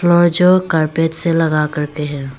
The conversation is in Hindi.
और जो कारपेट से लगा कर के है।